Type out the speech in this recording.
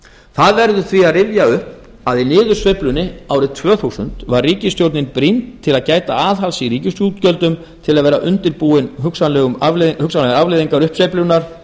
það verður því að rifja upp að í niðursveiflunni árið tvö þúsund var ríkisstjórnin brýnd til að gæta aðhalds í ríkisútgjöldum til að vera undirbúin hugsanlegum afleiðingum uppsveiflunnar